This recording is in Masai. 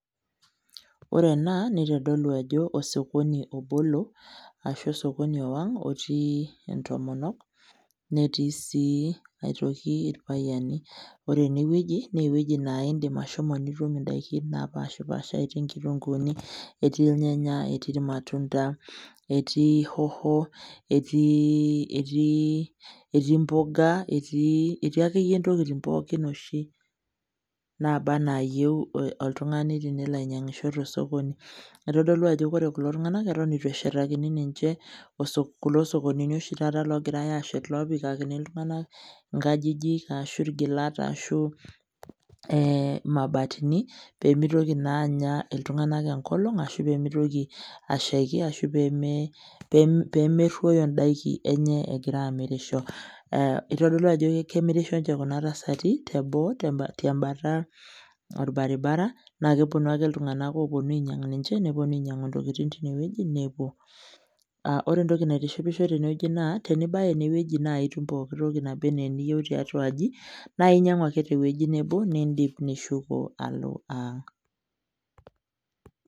Ore ena, nitodolu ajo osokoni obolo, ashu osokoni ewang',otii intomonok, netii si aitoki irpayiani. Ore enewueji, newueji naa idim ashomo nitum idaiki napashipashari, etii nkitunkuuni, etii irnyanya, etii irmatunda, etii hoho, etii mboga, etii akeyie intokiting pookin oshi naba enaayieu oltung'ani tenelo ainyang'isho tosokoni. Itodolu ajo ore kulo tung'anak, eton itu eshetakini ninche kulo sokonini oshi taata ogirai ashet, opikakini iltung'anak inkajijik, ashu irgilat, ashu mabatini, pemitoki naa anya iltung'anak enkolong', ashu pemitoki ashaiki, ashu pemerruoyo daiki enye egira amirisho. Itodolu ajo kemirisho nche kuna tasati, teboo tembata orbaribara, nakeponu ake iltung'anak oponu ainyang' ninche, neponu ainyang'u intokiting tinewueji nepuo. Ore entoki naitishipisho tenewei naa, tenibaya inewueji nai, nitum pooki toki naba enaa eniyieu tiatua aji, naa inyang'u ake tewueji nebo, nidip nishuko alo ang'.